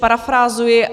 Parafrázuji.